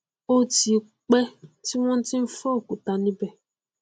ó ti pẹ tí wọn ti n fọ òkúta níbẹ